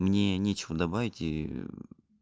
мне нечего добавить и